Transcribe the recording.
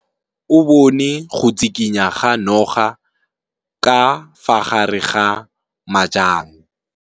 O bone go tshikinya ga noga ka fa gare ga majang.